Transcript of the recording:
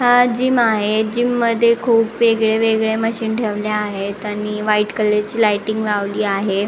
हा जीम आहे जीम मध्ये खुप वेगळे वेगळे मशीन ठेवल्या आहेत आणि व्हाईट कलर ची लाईटींग लावली आहे.